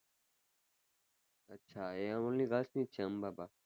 અચ્છા એ only gilrs ની જ છે અંબા બા.